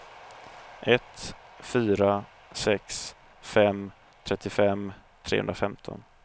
ett fyra sex fem trettiofem trehundrafemton